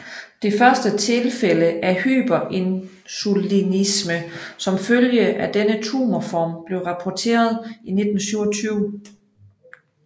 Det første tilfælde af hyperinsulinisme som følge af denne tumorform blev rapporteret i 1927